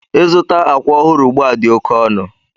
ịzụta ákwà ọhụrụ ugbu a dị oke ọnụ